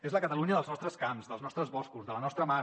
és la catalunya dels nostres camps dels nostres boscos de la nostra mar